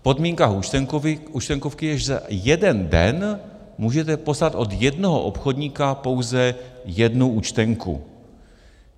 V podmínkách Účtenkovky je, že za jeden den můžete poslat od jednoho obchodníka pouze jednu účtenku.